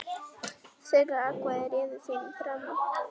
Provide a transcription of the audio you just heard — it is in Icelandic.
Þeirra atkvæði réðu þínum frama.